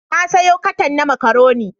Na sayo katan na makaroni.